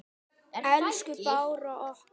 Elsku Bára okkar.